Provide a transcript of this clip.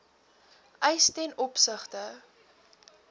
eis ten opsigte